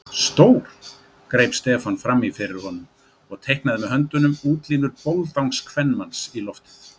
Stór. greip Stefán frammi fyrir honum og teiknaði með höndunum útlínur boldangskvenmanns í loftið.